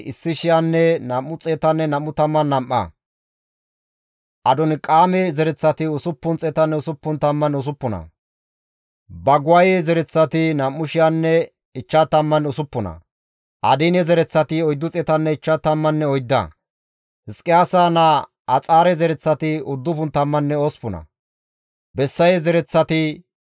Di7eteththafe simmida asata giddofe kase istta aawati diza katamatinne he katamatan diza asaa qooday hayssafe kaalli dizayssa; Beeteliheeme katama asati 123,